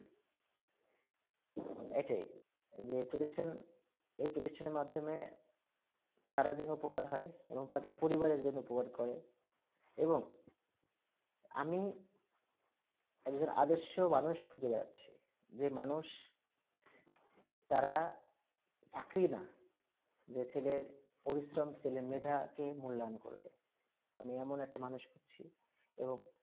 একজন আদশ মানুষ খুঁজে বেড়াচ্ছি যে মানুষ তারা চাকরি না যে ছেলের পরিশ্রম সেলে মেয়ে তাকে মূল্যায়ন করবে আমি এমন একটা মানূষ খুঁজছি এবং